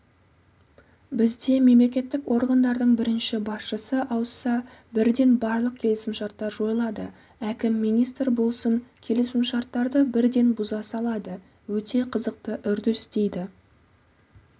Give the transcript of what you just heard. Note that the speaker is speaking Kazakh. бізде мемлекеттік органдардың бірінші басшысы ауысса бірден барлық келісімшарттар жойылады әкім министр болсын келісімшарттарды бірден бұза салады өте қызықты үрдіс дейді